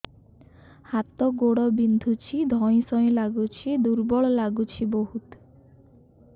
ହାତ ଗୋଡ ବିନ୍ଧୁଛି ଧଇଁସଇଁ ଲାଗୁଚି ଦୁର୍ବଳ ଲାଗୁଚି ବହୁତ